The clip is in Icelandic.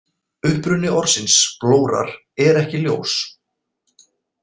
Uppruni orðsins blórar er ekki ljós.